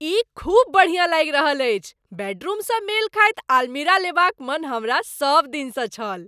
ई खूब बढ़िया लागि रहल अछि, बेडरूमसँ मेल खाइत आलमीरा लेबाक मन हमरा सबदिनसँ छल।